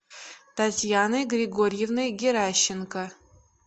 татьяной григорьевной геращенко